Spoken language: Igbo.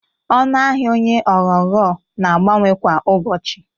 Ọnụ ahia onye onyoghonyo na-abawanye kwa ụbọchị